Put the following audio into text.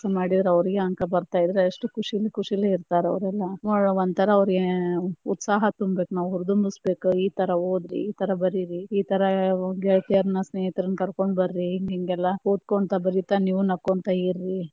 ಮಾಡಿದ್ರ ಅವ್ರಿಗೆ ಅಂಕ ಬರ್ತಾ ಇದ್ರ ಎಷ್ಟ ಕುಶಿಲೇ ಕುಶಿಲೇ ಇರ್ತಾರ ಅವ್ರ ಎಲ್ಲಾ, ಒಂತರಾ ಅವ್ರಿಗೆ ಉತ್ಸಹ ತುಂಬೇಕ ನಾವ ಹುರದುಂಬಿಸ ಬೇಕ, ಇತರ ಒದರಿ ಇತರ ಬರೀರಿ ಇತರ ಗೆಳತಿಯರನ ಸ್ನೇಹಿತರನ್ನ ಕರ್ಕೊಂಡ ಬರೀ, ಹಿಂಗೆಲ್ಲಾ ಓದಕೊಂತ ಬರಿತ ನೀವು ನಕ್ಕೊಂತ ಇರೀ.